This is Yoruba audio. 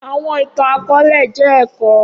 Awọn itan-akọọlẹ jẹ ẹkọ